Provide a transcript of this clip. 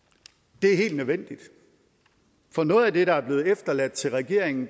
det er helt nødvendigt for noget af det der er blevet efterladt til regeringen